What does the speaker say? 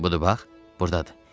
Budur bax, burdadır.